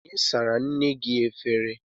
Onye sara nne gị efere?